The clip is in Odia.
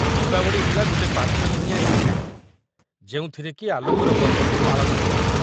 ଦୀପାବଳି ହେଲା ଗୋଟେ ପାଞ୍ଚ ଦିନିଆ ଇଭେଣ୍ଟ ଯେଉଁଥିରେକି ଆଲୋକର ପର୍ବକୁ ପାଳନ କରାଯାଏ ।